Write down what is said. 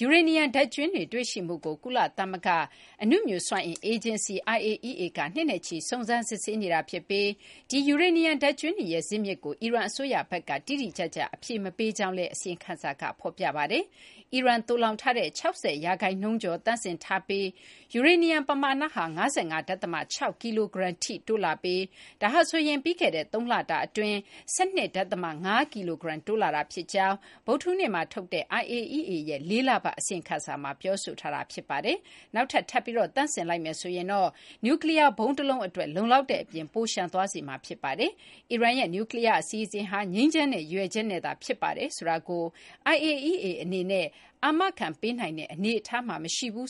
ယူရေနီယံ ဓာတ်ကြွင်းတွေ တွေ့ရှိမှုကို ကုလသမဂ္ဂ အနုမြူစွမ်းအင်အေဂျင်စီ IAEA က နှစ်နဲ့ချီ စုံစမ်း စစ်ဆေးနေတာဖြစ်ပြီး ဒီ ယူရေနီယံ ဓာတ်ကြွင်းတွေရဲ့ ဇစ်မြစ်ကို အီရန် အစိုးရဘက်က တိတိကျကျ အဖြေမပေးကြောင်းလည်း အစီရင်ခံစာက ဖော်ပြပါတယ်။ အီရန် သိုလှောင်ထားတဲ့ ၆၀ ရာခိုင်နှုန်းကျော် သန့်စင်ထားပြီးသား ယူရေနီယံ ပမာဏဟာ ၅၅ ဒဿမ ၆ ကီလိုဂရမ်ထိ တိုးလာပြီး ဒါဟာ ပြီးခဲ့တဲ့ ၃ လအတွင်း ၁၂ ဒဿမ ၅ ကီလိုဂရမ် တိုးလာတာ ဖြစ်ကြောင်းလည်း ဗုဒ္ဓဟူးနေ့မှာ ထုတ်တဲ့ IAEA ရဲ့ ၄ လပတ် အစီရင်ခံစာမှာ ပြောဆိုထားတာ ဖြစ်ပါတယ်။ နောက်ထပ် ထပ်ပြီး သန့်စင်လိုက်မယ် ဆိုရင်တော့ နျူးကလီးယား ဗုံးတလုံးအတွက် လုံလောက်တဲ့အပြင် ပိုလျှံ သွားစေမှာ ဖြစ်ပါတယ်။ အီရန်ရဲ့ နျူးကလီးယား အစီအစဉ်ဟာ ငြိမ်းချမ်းတဲ့ ရည်ရွယ်ချက်နဲ့သာ ဖြစ်ပါတယ်ဆိုတာကို IAEA အနေနဲ့ အာမခံပေးနိုင်တဲ့ အနေအထားမှာ မရှိဘူး